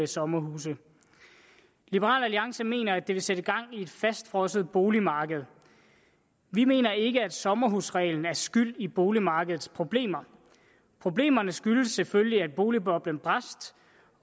sommerhuse liberal alliance mener at det vil sætte gang i et fastfrosset boligmarked vi mener ikke at sommerhusreglen er skyld i boligmarkedets problemer problemerne skyldes selvfølgelig at boligboblen brast